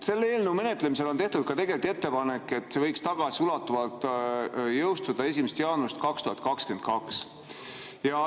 Selle eelnõu menetlemisel on tehtud ka ettepanek, et see võiks tagasiulatuvalt jõustuda 1. jaanuarist 2022.